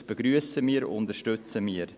Dies begrüssen und unterstützen wir.